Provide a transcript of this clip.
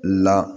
La